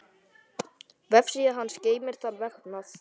Vefsíða hans geymir þann vefnað.